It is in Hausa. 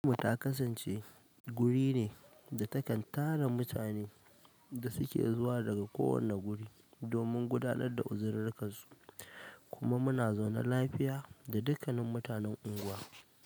Fatimah ta kasance guri ne da takan tara mutanen da suke zuwa daga kowane wuri, domin gudanar da uzirarkan su, kuma muna zaune lafiya da dukkanin mutanan unguwar.